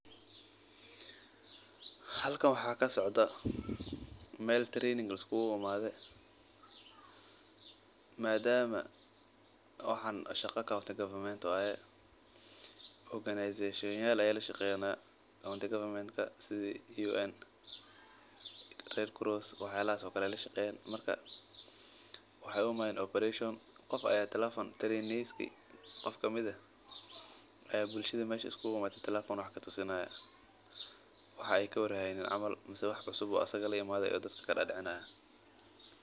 Halkan waxaa kasocdaa meel tababar liskugu imaade madama shaqa aay tahay dada ayaa lashaqeeya waxeey u imaaden qof ayaa tekefon dadka tusinaaya wax aay kawar haynin ama wax cusub oo asiga la imaade.